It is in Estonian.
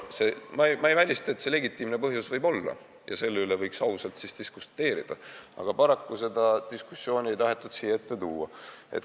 Ma ei välista, et legitiimne põhjus võib siin olla, ja selle üle võiks siis ka ausalt diskuteerida, aga paraku ei tahetud seda diskussiooni siia ette tuua.